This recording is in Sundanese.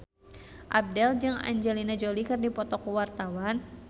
Abdel jeung Angelina Jolie keur dipoto ku wartawan